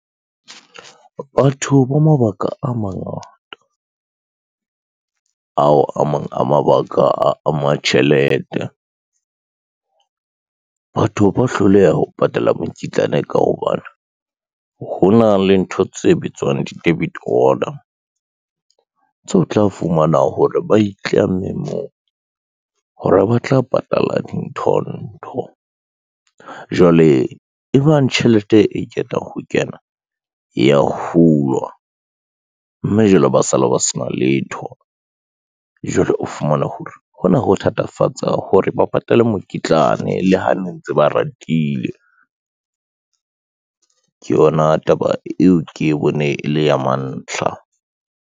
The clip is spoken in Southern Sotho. Batho ba mabaka a mangata, ao a mang a mabaka a ama tjhelete. Batho ba hloleha ho patala mokitlane ka hobane ho na le ntho tse bitswang di-debit order, tseo tla fumana hore ba itlamme moo hore ba tla patala dintho ntho, jwale e bang tjhelete e keta ho kena, e ya hulwa mme jwale ba sala ba sena letho. Jwale o fumane hore hona ho thatafatsa hore ba patale mokitlane le ha ne ntse ba ratile, ke yona taba eo ke e bone e le ya mantlha.